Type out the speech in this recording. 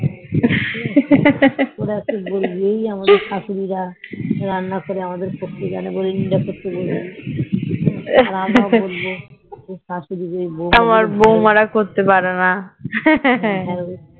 তোরা তো বলবি না আমাদের শাশুড়ি রা রান্না করে আমাদের